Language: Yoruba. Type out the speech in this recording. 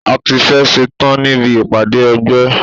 A tí fẹ́ ẹ̀ ṣetán níbi ìpàdé ẹgbẹ́.